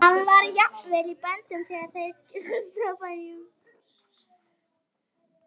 Hann var jafnvel í böndum þegar þeir gistu á bæjum.